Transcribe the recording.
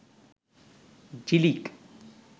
Jhilik